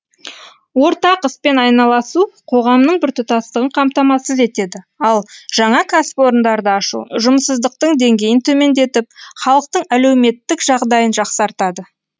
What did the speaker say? ортақ іспен айналысу қоғамның біртұтастығын қамтамасыз етеді ал жаңа кәсіпорындарды ашу жұмыссыздықтың деңгейін төмендетіп халықтың әлеуметтік жағдайын жақсартады